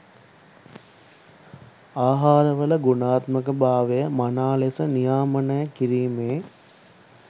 ආහාරවල ගුණාත්මක භාවය මනා ලෙස නියාමනය කිරීමේ